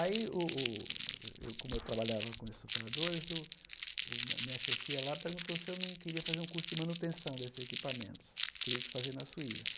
Aí o o o, eu como eu trabalhava com esse operadores, o minha chefia lá perguntou se eu não queria fazer um curso de manutenção desses equipamentos, teria que fazer na Suíça.